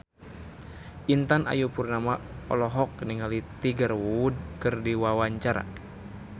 Intan Ayu Purnama olohok ningali Tiger Wood keur diwawancara